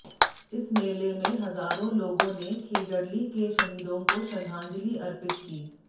इस मेले में हजारों लोगों ने खेजड़ली के शहीदों को श्रद्धांजलि अर्पित की